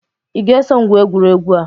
Will you follow to play this game?